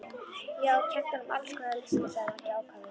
Já, og kennt honum alls konar listir, sagði Maggi ákafur.